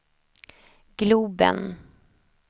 globen